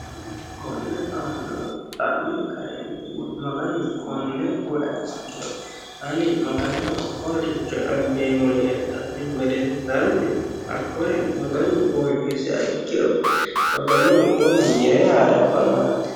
konne aannoo xa'ne kaentinn maganu konne oeasitiro ani magano qoroshicho abbeemmo yee dha'nin godensaanni hakkore maganu oohisi a ikkiro magano wona yire haa'reabbanno yaati